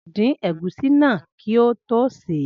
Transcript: Ao din egusi naa ki o to se e.